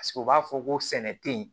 Paseke u b'a fɔ ko sɛnɛ te ye